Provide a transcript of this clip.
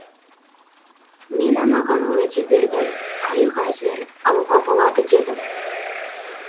мен анаған уәде бердім қайық әзір алуға болады дедім